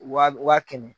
Wa wa kɛmɛ